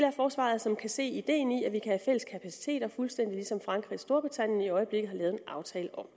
af forsvaret som kan se ideen i at vi kan have fælles kapaciteter fuldstændig ligesom frankrig og storbritannien i øjeblikket har lavet en aftale om